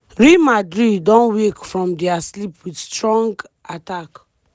real madrid don wake from dia sleep wit strong attack.